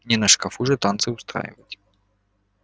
не на шкафу же танцы устраивать